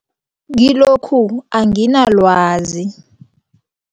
Kilokhu anginalwazi.